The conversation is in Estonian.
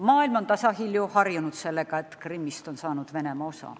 Maailm on tasahilju harjunud sellega, et Krimmist on saanud Venemaa osa.